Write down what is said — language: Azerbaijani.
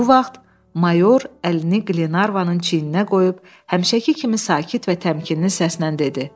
Bu vaxt mayor əlini Qlenarvanın çiyninə qoyub həmişəki kimi sakit və təmkinli səslə dedi: